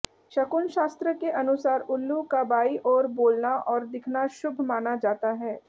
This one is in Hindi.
शकुन शास्त्र के अनुसार उल्लू का बांई ओर बोलना और दिखना शुभ मना जाता है